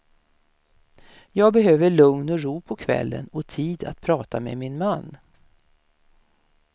Jag behöver lugn och ro på kvällen och tid att prata med min man.